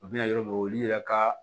U bɛna yɔrɔ min na olu yɛrɛ ka